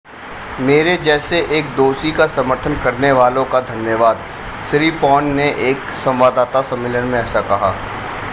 मेरे जैसे एक दोषी का समर्थन करने वालों का धन्यवाद सिरीपॉर्न ने एक संवाददाता सम्मेलन में ऐसा कहा